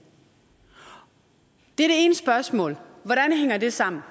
er det ene spørgsmål hvordan hænger det sammen